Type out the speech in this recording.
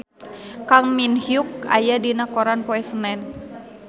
Kang Min Hyuk aya dina koran poe Senen